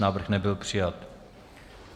Návrh nebyl přijat.